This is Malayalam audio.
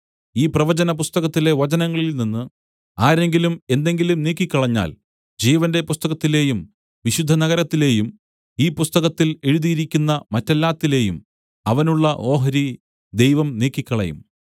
ഈ പ്രവചന പുസ്തകത്തിലെ വചനങ്ങളിൽ നിന്നു ആരെങ്കിലും എന്തെങ്കിലും നീക്കിക്കളഞ്ഞാൽ ജീവന്റെ പുസ്തകത്തിലേയും വിശുദ്ധനഗരത്തിലേയും ഈ പുസ്തകത്തിൽ എഴുതിയിരിക്കുന്ന മറ്റെല്ലാത്തിലേയും അവനുള്ള ഓഹരി ദൈവം നീക്കിക്കളയും